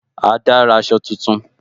Ada ra aṣọ tuntun